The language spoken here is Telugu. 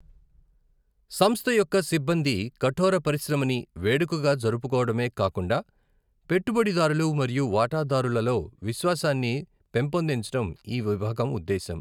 సంస్థ యొక్క సిబ్బంది కఠోర పరిశ్రమని వేడుకగా జరుపుకోవడమే కాకుండా పెట్టుబడిదారులు మరియు వాటాదారులలో విశ్వాసాన్ని పెంపొందించడం ఈ విభాగం ఉద్దేశం.